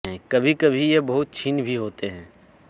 कभी कभी ये बहुत क्षीण भी होते हैं